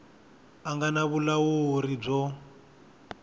a nga na vulawuri byo